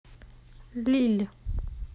лилль